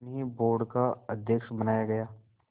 उन्हें बोर्ड का अध्यक्ष बनाया गया